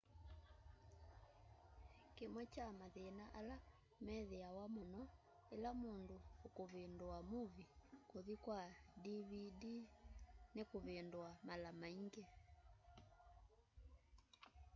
kĩmwe kya mathĩna ala methĩawa mũno ĩla mũndũ ũkũvĩndũa movĩe kũthĩ kwa dvd nĩkũvĩndũa mala maĩngĩ